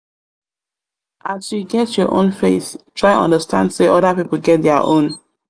as you get your own faith try understand sey oda pipo get their own.